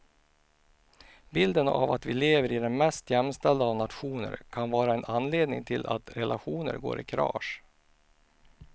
Bilden av att vi lever i den mest jämställda av nationer kan vara en anledning till att relationer går i kras.